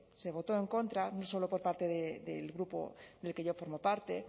se votó en contra no solo por parte del grupo del que yo formo parte